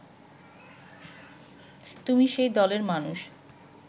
তুমি সেই দলের মানুষ